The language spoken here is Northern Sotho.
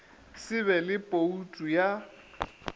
se be le boutu ya